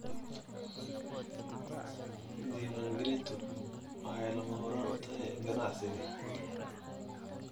Diiwaangelintu waxay lama huraan u tahay ganacsiga.